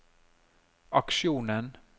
aksjonen